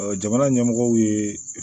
jamana ɲɛmɔgɔw ye